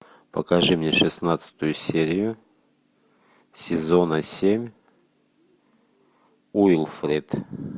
покажи мне шестнадцатую серию сезона семь уилфред